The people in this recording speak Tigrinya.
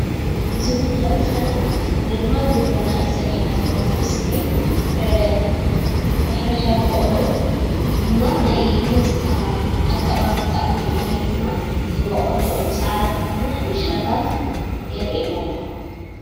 እዚ ምስሊ ገፅታ ገፀ መሬት ኮይኑ ግብርናን ጎቦን ሳዕርን ይረአ።